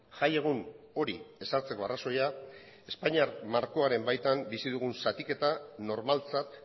jaiegun hori ezartzeko arrazoia espainiar markoaren baitan bizi dugun zatiketa normaltzat